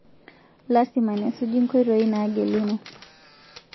Lasima nesuji nkoitoi naageluno